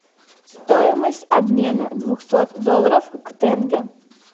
стоимость обмена двухсот долларов к тенге